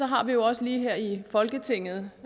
har vi jo også lige her i folketinget